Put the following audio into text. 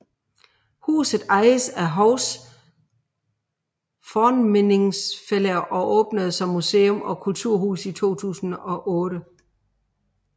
Huset ejes af Hovs Fornminnisfelag og åbnede som museum og kulturhus i 2008